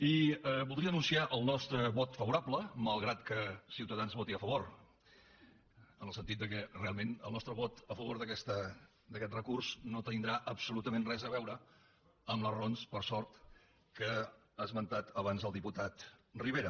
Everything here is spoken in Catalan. i voldria anunciar el nostre vot favorable malgrat que ciutadans hi voti a favor en el sentit que realment el nostre vot a favor d’aquest recurs no tindrà absolutament res a veure amb les raons per sort que ha esmentat abans el diputat rivera